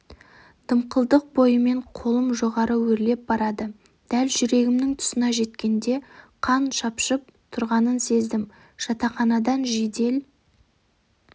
дымқылдық бойымен қолым жоғары өрлеп барады дәл жүрегімнің тұсына жеткенде қан шапшып тұрғанын сездім жатақханадан жедел